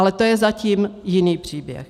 Ale to je zatím jiný příběh.